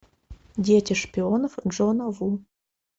дети шпионов джона ву